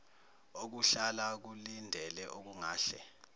okuhlala kulindele okungahle